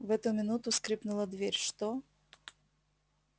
в эту минуту скрыпнула дверь что